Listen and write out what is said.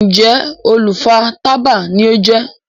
Njé olú fà tábà ní o jé?